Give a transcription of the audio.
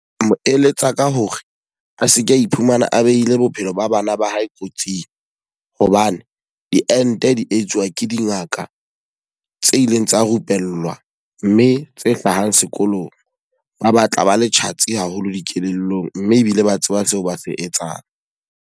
Ho eletsa ka hore a seke a iphumana a behile bophelo ba bana ba hae kotsing. Hobane diente di etsuwa ke dingaka tse ileng tsa rupellwa mme tse hlahang sekolong. Ba batla ba le tjhatsi haholo dikelellong mme ebile ba tseba seo ba se etsang.